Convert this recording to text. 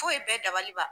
Foyi bɛɛ dabaliba